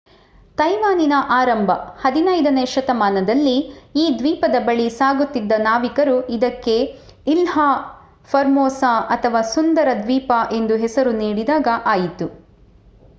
ತೈವಾನಿನ ಆರಂಭ 15ನೇ ಶತಮಾನದಲ್ಲಿ ಈ ದ್ವೀಪದ ಬಳಿ ಸಾಗುತಿದ್ದ ನಾವಿಕರು ಇದಕ್ಕೆ ಇಲ್ಹಾ ಫರ್ಮೋಸಾ ಅಥವಾ ಸುಂದರ ದ್ವೀಪ ಎಂಬ ಹೆಸರು ನೀಡಿದಾಗ ಆಯಿತು